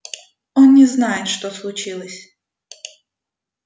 он не знает что случилось